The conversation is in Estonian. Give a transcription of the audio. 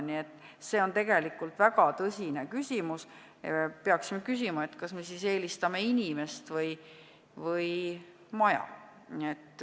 Nii et see on väga tõsine küsimus ja me peaksime küsima, kas me siis eelistame inimest või maja.